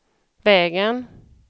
vägen